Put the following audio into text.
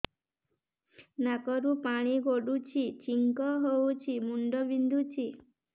ନାକରୁ ପାଣି ଗଡୁଛି ଛିଙ୍କ ହଉଚି ମୁଣ୍ଡ ବିନ୍ଧୁଛି